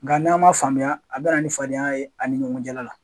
Nga n'a' man faamuya a bɛ na ni fadenya ye ani ɲɔgɔn cɛla la.